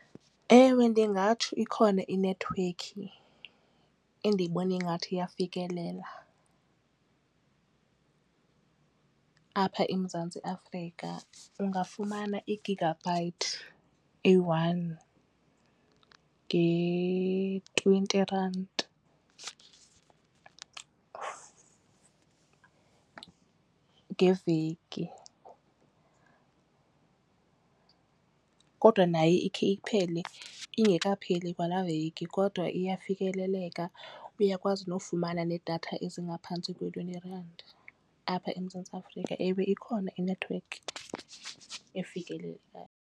Ewe, ndingatsho ikhona inethiwekhi endiyibona ingathi iyafikelela apha eMzantsi Afrika ungafumana i-gigabyte eyi-one nge-twenty rand ngeveki. Kodwa nayo ikhe iphele ingekapheli kwalaa veki kodwa iyafikeleleka uyakwazi nofumana nedatha ezingaphantsi kwe-twenty rand apha eMzantsi Afrika. Ewe ikhona inethiwekhi efikelelekayo.